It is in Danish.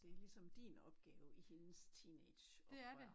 Det ligesom din opgave i hendes teenage oprør